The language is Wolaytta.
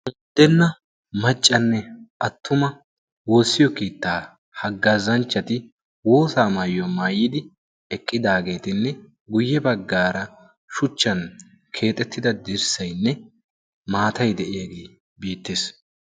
uttenna maccanne attuma woossiyo kiittaa haggaazanchchati woosa maayiyaa maayidi eqqidaageetinne guyye baggaara shuchchan keexettida dirssaynne maatai de'iyaagee biittiis